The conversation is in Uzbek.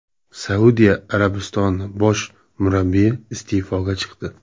Saudiya Arabistoni bosh murabbiyi iste’foga chiqdi.